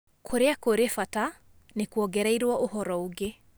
Kũrĩa kũrĩ bata, nĩ kuongereirũo ũhoro ũngĩ.